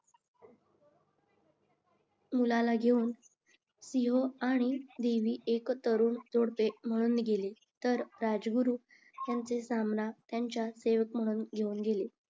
मुळाला घेवून आणि देवी म्हणून गेले तर राजगुरू यांना त्यांचे सेवक म्हणून घेवून गेले